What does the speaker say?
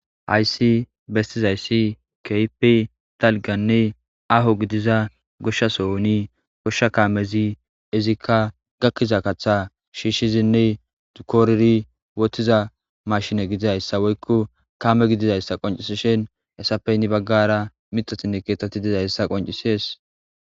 Haysi bestizayssi keypi talganne aho gidiza goshsha sohoni goshsha kaamezi izikka gakkiza kaththa shiishshizinne dukooriri wotiza mashine gidizayssa woykko kame gidizayssa qoncisishen hessappey ni baggara mixotinne keetetti dizayssa qoncisees.